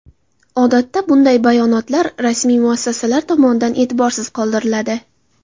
Odatda bunday bayonotlar rasmiy muassasalar tomonidan e’tiborsiz qoldiriladi.